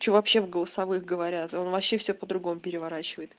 что вообще в голосовых говорят он вообще все по-другому переворачивает